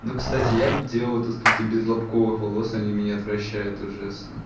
кстати я делаю то что ты без лобковых волос они меня отвращают ужасно